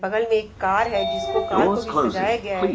बगल में एक कार है जिसको कार को भी सजाया गया है।